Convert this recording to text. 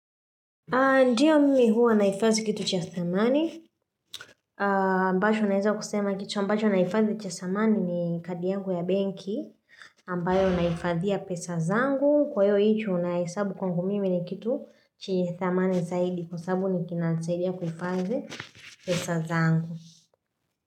Ndiyo mimi huwa naifadhi kitu cha thamani ambacho naeza kusema kitu ambacho naifadhi cha thamani ni kadi yangu ya benki ambayo naifadhia pesa zangu kwa hiyo hicho naihesabu kwangu mimi ni kitu chenye thamani zaidi kwa sababu ni kinasaidia kufadhi pesa zangu.